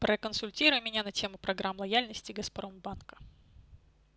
проконсультируй меня на тему программ лояльности газпромбанка